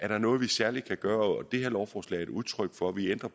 der er noget vi særlig kan gøre det her lovforslag er et udtryk for at vi ændrer